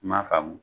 M'a faamu